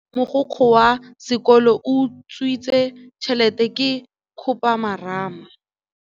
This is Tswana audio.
Taba ya gore mogokgo wa sekolo o utswitse tšhelete ke khupamarama.